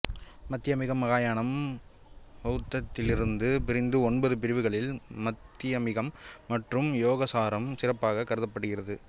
மத்தியமிகம் மகாயானம் பௌத்தத்திலிருந்து பிரிந்த ஒன்பது பிரிவுகளில் மாத்தியமிகம் மற்றும் யோகசாரம் சிறப்பாக கருதப்படுகிறது